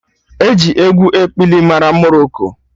Eji egwu ekpili mara Moroko